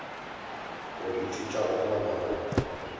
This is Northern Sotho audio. go ithuta go kgona go